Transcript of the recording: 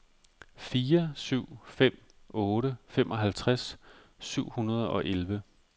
fire syv fem otte femoghalvtreds syv hundrede og elleve